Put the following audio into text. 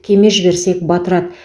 кеме жіберсек батырады